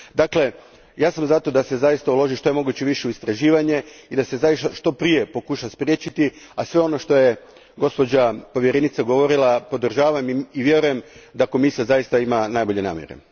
Dakle, ja sam za to da se zaista uloži što je moguće više u istraživanje i da se zaista što prije pokuša spriječiti, a sve ono što je gospođa povjerenica govorila podržavam i vjerujem da Komisija zaista ima najbolje namjere.